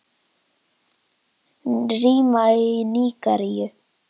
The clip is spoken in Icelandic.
Rima í Nígeríu